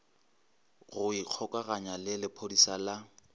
go ikgokaganya le lephodisa la